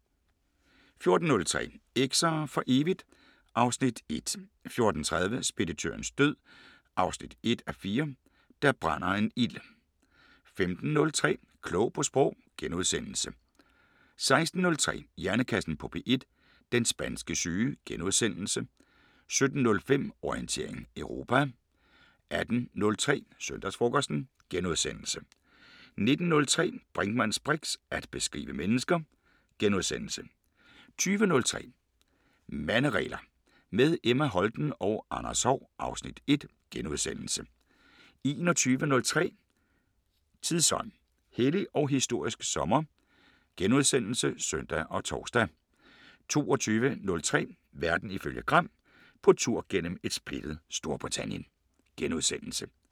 14:03: Eks'er for evigt (Afs. 1) 14:30: Speditørens død 1:4 – Der brænder en ild 15:03: Klog på Sprog * 16:03: Hjernekassen på P1: Den spanske syge * 17:05: Orientering Europa 18:03: Søndagsfrokosten * 19:03: Brinkmanns briks: At beskrive mennesker * 20:03: Manderegler – med Emma Holten og Anders Haahr (Afs. 1)* 21:03: Tidsånd: Hellig og historisk sommer *(søn og tor) 22:03: Verden ifølge Gram: På tur gennem et splittet Storbritannien *